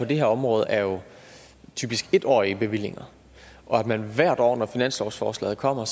på det her område er jo typisk en årige bevillinger hvert år når finanslovsforslaget kommer